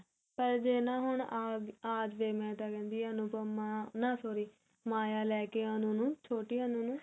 ਪਰ ਜੇ ਨਾ ਹੁਣ ਆ ਜਾਵੇ ਮੈਂ ਤਾਂ ਕਹਿਣੀ ਹਾਂ ਅਨੁਪਮਾ ਨਾ sorry ਮਾਇਆ ਲੈਕੇ ਅਨੂੰ ਨੂੰ ਛੋਟੀ ਅਨੂ ਨੂੰ